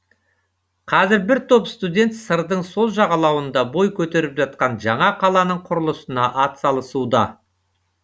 қазір бір топ студент сырдың сол жағалауында бой көтеріп жатқан жаңа қаланың құрылысына атсалысуда